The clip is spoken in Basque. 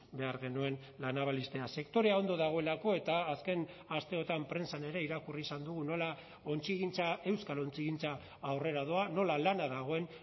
behar genuen la naval ixtea sektorea ondo dagoelako eta azken asteotan prentsan ere irakurri izan dugu nola ontzigintza euskal ontzigintza aurrera doa nola lana dagoen